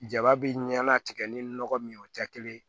Jaba bi ɲanatigɛ ni nɔgɔ min tɛ kelen ye